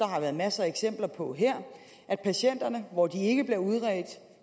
har været masser af eksempler på her at patienterne når de ikke bliver udredt